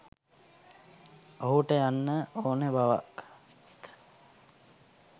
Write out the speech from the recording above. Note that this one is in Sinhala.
ඔහුට යන්න ඕනෙ බවත්